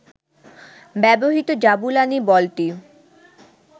ব্যবহৃত জাবুলানি বলটি